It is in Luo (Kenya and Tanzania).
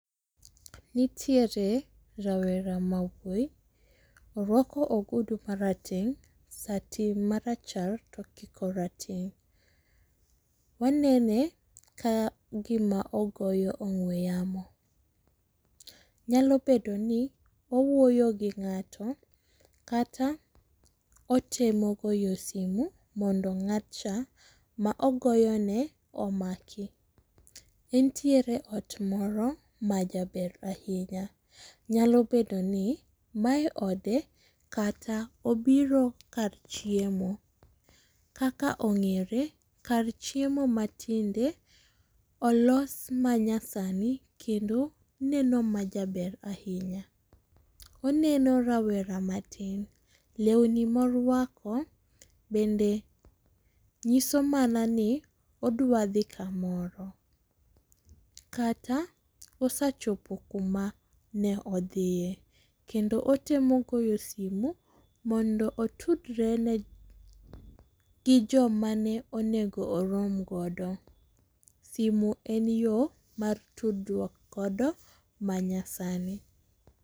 Nitiere rawera ma wuoyi, orwako ogudu ma rateng, sati ma rachar to okiko rateng. Wanene ka gi ma ogoyo ong'we yamo, nyalo bedo ni owuoyo gi ngato kata otemo goyo simu mondo ng'atcha ma ogoyo ne omaki. Entiere ot moro ma jaber ahinya, nyalo bedo ni mae ode kata obiro kar chiemo. Kaka ong’ere kar chiemo ma tinde olos manyasani kendo neno ma jaber ahinya. Oneno rawera matin, lewni ma orwako bende ng’iso mana ni odwa dhi kamoro kata osechopo kuma ne odhiye. Kendo otemo goyo simo mondo otudre ne, gi jo ma ne onego orom go. Simo en yo mar tudruok godo manyasani.